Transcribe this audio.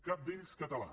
cap d’ells català